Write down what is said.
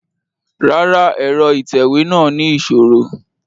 Rárá, ẹrọ itẹwe náa ni iṣoro